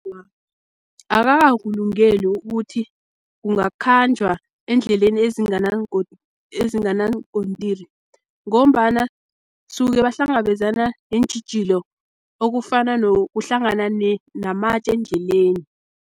Awa, akakakulungeli ukuthi kungakhanjwa eendleleni ezinganaankotiri, ngombana suke bahlangabezana neentjhijilo, okufana nokuhlangana namatje endleleni.